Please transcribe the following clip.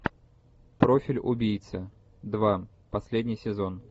профиль убийцы два последний сезон